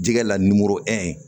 Jɛgɛ la nimoro